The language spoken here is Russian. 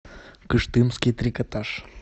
кыштымский трикотаж